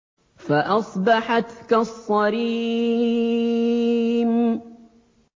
فَأَصْبَحَتْ كَالصَّرِيمِ